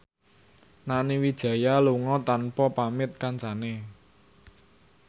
Nani Wijaya lunga tanpa pamit kancane